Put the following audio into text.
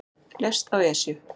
Lést á Esju